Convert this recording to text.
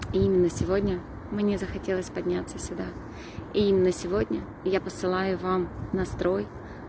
и именно сегодня мне захотелось подняться сюда и именно сегодня я посылаю вам настрой